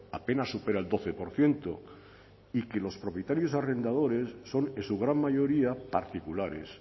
apenas supera el doce por ciento y que los propietarios arrendadores son en su gran mayoría particulares